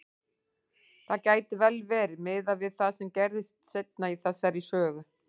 Það gæti vel verið, miðað við það sem gerist seinna í þessari sögu.